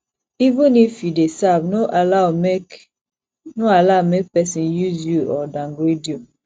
even if you dey serve no allow make no allow make persin use you or downgrade you